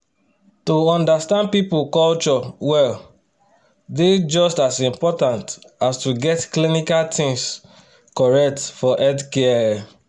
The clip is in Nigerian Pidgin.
to understand people culture well dey just as important as to get clinical things correct for healthcare.